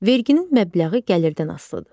Verginin məbləği gəlirdən asılıdır.